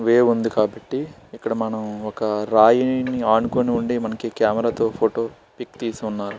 ఉంది కాబ్బటి ఇక్కడ మనం ఒక రాయి ని అనుకుని ఉండే కెమెరా తో పిక్ తీశారు.